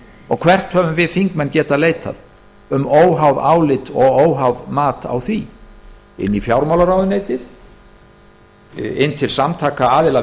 og hvert höfum við þingmenn getað leitað um óháð álit eða óháð mat á því til fjármálaráðuneytisins til samtaka aðila